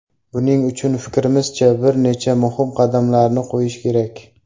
Buning uchun, fikrimizcha, bir necha muhim qadamlarni qo‘yish kerak.